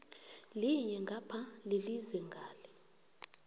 linye ngapha lilize ngale